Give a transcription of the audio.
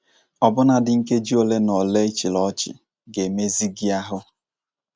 Ọbụnadị nkeji ole na ole ị chịrị ọchị ga - emezi gị ahụ.